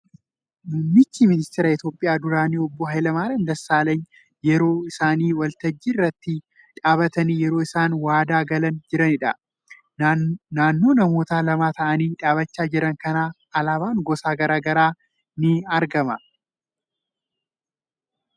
Muumichi ministeeraa Itiyoopiyaa duraanii obbo Haayila Maariyaam Dassaalenyi yeroo isaan waltajjii irra dhaabbatanii yeroo isaan waadaa galaa jiraniidha. Naannoo namoota lama ta'aanii dhaabbachaa jiran kanaa alaabaan gosa garaa garaa argamaa jira.